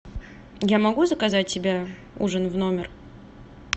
я могу заказать себе ужин в номер